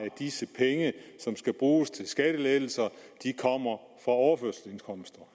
disse penge som skal bruges til skattelettelser kommer fra overførselsindkomster